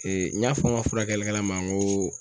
n y'a fɔ n ka furakɛlikɛla ma n ko